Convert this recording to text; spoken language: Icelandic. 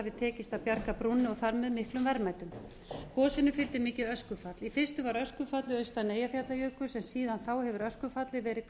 hafi tekist að bjarga brúnni og þar með miklum verðmætum gosinu fylgdi mikið öskufall í fyrstu var öskufallið austan eyjafjallajökuls en síðan þá hefur öskufallið verið